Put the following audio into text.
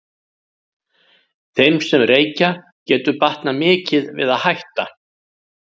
Þeim sem reykja getur batnað mikið við að hætta.